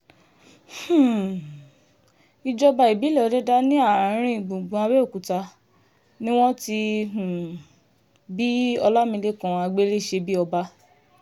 um ìjọba ìbílẹ̀ òdẹ̀dà ní arìn-gbùngbùn abẹ́ọ̀kúta ni wọ́n ti um bí ọlámilekan àgbéléṣebíọba